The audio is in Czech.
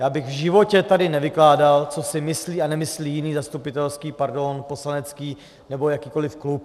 Já bych v životě tady nevykládal, co si myslí a nemyslí jiný zastupitelský, pardon, poslanecký nebo jakýkoliv klub.